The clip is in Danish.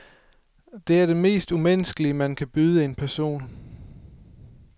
Det er det mest umenneskelige, man kan byde en person.